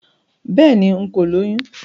Béèni, n̄ kò lóyún